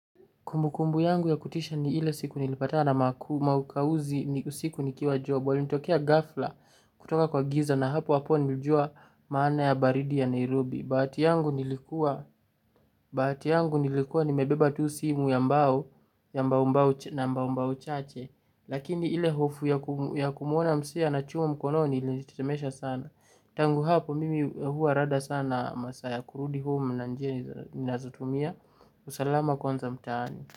Kumbukumbu yangu ya kutisha ni ile siku nilipatana maukawuzi ni siku nikiwa job. Walinitokea ghafla kutoka kwa giza na hapo hapo nilijua maana ya baridi ya Nairobi. Bahati yangu nilikuwa nimebeba tu simu ya mbao na mbao mbao chache. Lakini ile hofu ya kumuona mzee na chuma mkononi ilinitetemesha sana. Tangu hapo mimi huwa rada sana masaa ya kurudi home na njia ni nazotumia. Usalama kwanza mtaani.